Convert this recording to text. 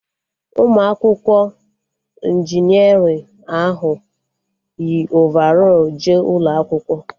Ụmụ akwụkwọ injinerịn ahụ yi ovarọl jee ụlọ akwụkwọ